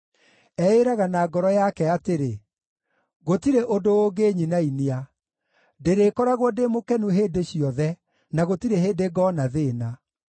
Eĩĩraga na ngoro yake atĩrĩ, “Gũtirĩ ũndũ ũngĩnyinainia; ndĩrĩkoragwo ndĩ mũkenu hĩndĩ ciothe na gũtirĩ hĩndĩ ngoona thĩĩna.”